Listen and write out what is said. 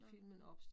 Nåh